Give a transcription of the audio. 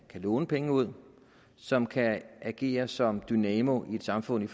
låne penge ud som kan agere som dynamoer i et samfund